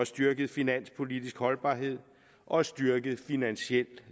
styrket finanspolitisk holdbarhed og styrket finansiel